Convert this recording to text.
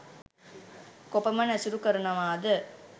කොපමණ ඇසුරු කරනවාද?